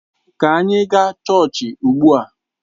Ka anyị gaa chọọchị ugbu a!